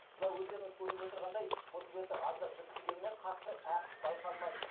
мына өздеріңіз көріп отырғандай мұз беті аздап жіпсігенімен қатты әғыс байқалмайды